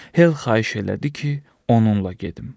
Hel xahiş elədi ki, onunla gedim.